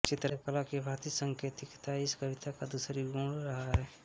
चित्रकला की भाँति सांकेतिकता इस कविता का दूसरा गुण रहा है